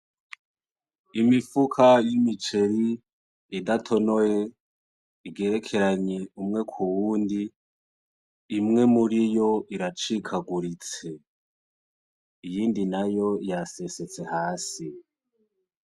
Imifuka y'imiceri idatonoye igerekeranye umwe k'uwundi imwe muriyo iracikaguritse, iyindi nayo yasesetse hasi .